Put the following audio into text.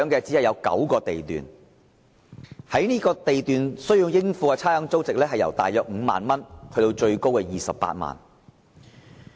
只有9個地段須繳交差餉，而應付差餉租值由約5萬元至最高28萬元不等。